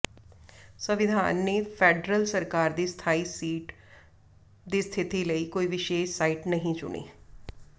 ਸੰਵਿਧਾਨ ਨੇ ਫੈਡਰਲ ਸਰਕਾਰ ਦੀ ਸਥਾਈ ਸੀਟ ਦੀ ਸਥਿਤੀ ਲਈ ਕੋਈ ਵਿਸ਼ੇਸ਼ ਸਾਈਟ ਨਹੀਂ ਚੁਣੀ